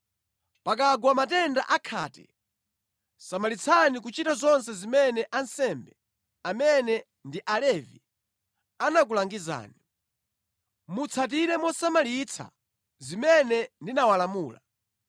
Pakagwa matenda a khate, samalitsani kuchita zonse zimene ansembe, amene ndi Alevi, anakulangizani. Mutsatire mosamalitsa zimene ndinawalamula.